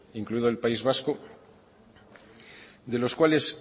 incluido el país vasco de los cuales